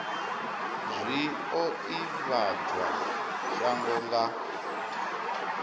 zwi o ivhadzwa shango nga